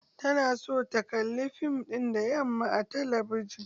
Tana son ta kalli fim ɗin da yamma a talabijin.